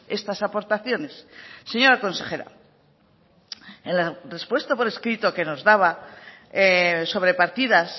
estas aportaciones señora consejera en la respuesta por escrito que nos daba sobre partidas